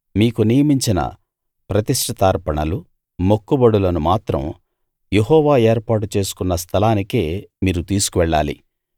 మీకు నియమించిన ప్రతిష్టితార్పణలు మొక్కుబడులను మాత్రం యెహోవా ఏర్పాటు చేసుకున్న స్థలానికే మీరు తీసుకువెళ్ళాలి